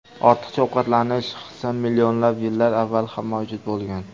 Ortiqcha ovqatlanish hisi millionlab yillar avval ham mavjud bo‘lgan.